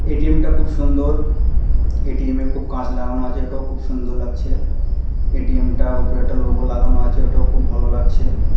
ATM. -টা খুব সুন্দর এ.টি.এম. -এ খুব কাঁচ লাগানো আছে ওটা খুব সুন্দর লাগছে এ.টি.এম. -টা উপর একটা লোগো লাগানো আছে ওটাও খুব ভালো লাগছে ।